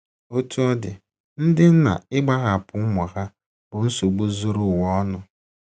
Otú ọ dị, ndị nna ịgbahapụ ụmụ ha bụ nsogbu zuru ụwa ọnụ.